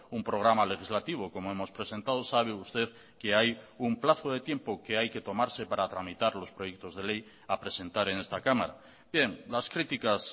un programa legislativo como hemos presentado sabe usted que hay un plazo de tiempo que hay que tomarse para tramitar los proyectos de ley a presentar en esta cámara bien las críticas